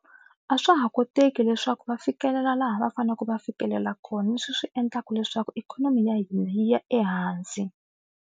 A swa ha koteki leswaku va fikelela laha va faneleke va fikelela kona leswi swi endlaka leswaku ikhonomi ya hina yi ya ehansi.